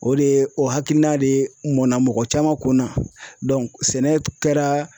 O de ye o hakilina de mɔnna mɔgɔ caman kun na sɛnɛ kɛra